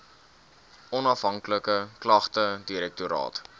onafhanklike klagtedirektoraat